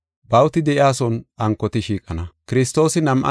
“Bawuti de7iyason ankoti shiiqana.